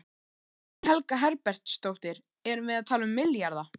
Guðný Helga Herbertsdóttir: Erum við að tala um milljarða?